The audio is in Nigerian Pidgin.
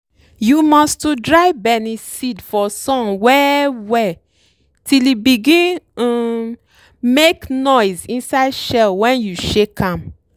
you must to dry benneseed for sun well well till e begin um make noise inside shell wen you shake am.